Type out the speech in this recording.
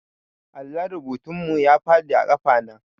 Allon rubutun mu ya faɗi a ƙafa na